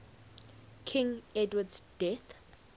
king edward's death